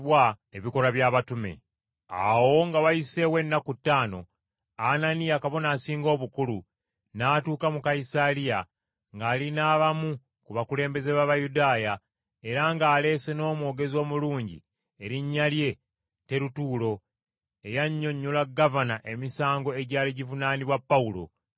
Awo nga wayiseewo ennaku ttaano, Ananiya, Kabona Asinga Obukulu, n’atuuka mu Kayisaliya ng’ali n’abamu ku bakulembeze b’Abayudaaya era ng’aleese n’omwogezi omulungi erinnya lye Terutuulo, eyannyonnyola gavana emisango egyali givunaanibwa Pawulo.